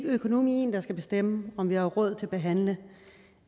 økonomien der skal bestemme om vi har råd til at behandle